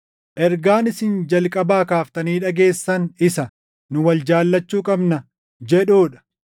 Ergaan isin jalqabaa kaaftanii dhageessan isa, “Nu wal jaallachuu qabna” jedhuu dha.